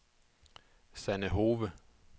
Sanne Hove